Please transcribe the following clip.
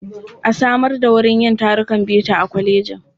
A samar da wurin yin tarukan bita a kwalejin. A conference room should provided in the college.